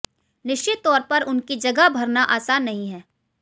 निश्चित तौर पर उनकी जगह भरना आसान नहीं है